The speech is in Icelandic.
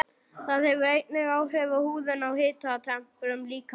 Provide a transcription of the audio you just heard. Það hefur einnig áhrif á húðina og hitatemprun líkamans.